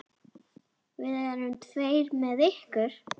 Við verðum tveir með ykkur.